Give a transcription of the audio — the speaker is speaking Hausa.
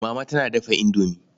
Mama tana dafa indomi.